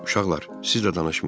Uşaqlar, siz də danışmayın.